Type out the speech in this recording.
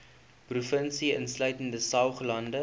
provinsie insluitende saoglande